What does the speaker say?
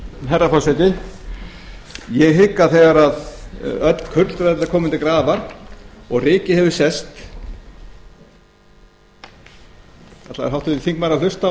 herra forseti ég hygg að þegar öll kurl verða komin til grafar og rykið hefur sest ætlaði háttvirtur þingmaður að hlusta